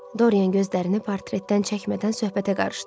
Dorian gözlərini portretdən çəkmədən söhbətə qarışdı.